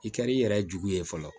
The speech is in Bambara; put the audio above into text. I kɛr'i yɛrɛ jugu ye fɔlɔ